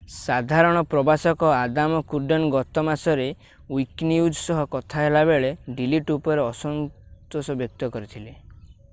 ସାଧାରଣ ପ୍ରଶାସକ Adam Cuerden ଗତ ମାସରେ ୱିକିନ୍ୟୁଜ ସହ କଥା ହେଲାବେଳେ ଡ଼ିଲିଟ ଉପରେ ଅସନ୍ତୋଷ ବ୍ୟକ୍ତ କରିଥିଲେ